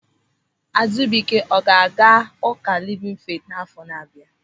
Azubike ọ ga-aga Ụka Livin Feeti n'àfọ́ na bịa?